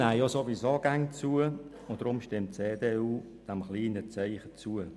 Die Steuereinnahmen nehmen ohnehin immer zu, deshalb stimmt die EDU diesem kleinen Zeichen zu.